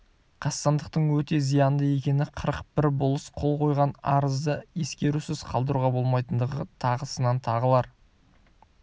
қастандықтың өте зиянды екені қырық бір болыс қол қойған арызды ескерусіз қалдыруға болмайтындығы тағысын тағылар